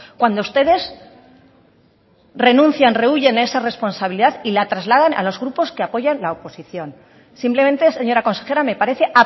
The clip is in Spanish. cuando ustedes renuncian rehúyen esa responsabilidad y la trasladan a los grupos que apoyan la oposición simplemente señora consejera me parece